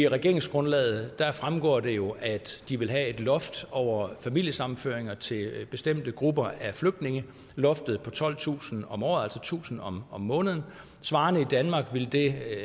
regeringsgrundlaget fremgår det jo at de vil have et loft over familiesammenføringer til bestemte grupper af flygtninge på tolvtusind om året altså tusind om måneden